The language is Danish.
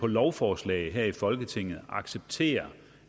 lovforslag her i folketinget accepterer